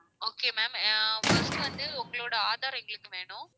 okay ma'am ஆஹ் first வந்து உங்களோட aadhar எங்களுக்கு வேணும்